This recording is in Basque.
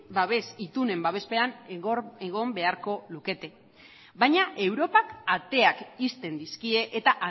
babes itunen babespean egon beharko lukete baina europak ateak ixten dizkie eta